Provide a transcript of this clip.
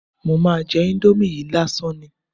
Mo máa jẹ íńdómì yìí lásán ni.